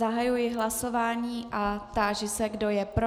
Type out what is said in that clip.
Zahajuji hlasování a táži se, kdo je pro.